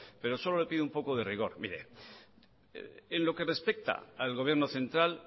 pero solo le pido un poco de rigor mire en lo que respecta al gobierno central